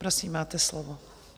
Prosím, máte slovo.